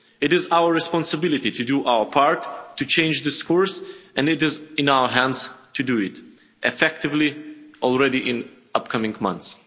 ago. It is our responsibility to do our part to change this course and it is in our hands to do it effectively, already in upcoming months.